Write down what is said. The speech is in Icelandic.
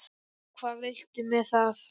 Og hvað viltu með það?